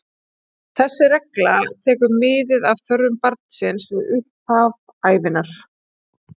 Þessi regla tekur mið af þörfum barnsins við upphaf ævinnar.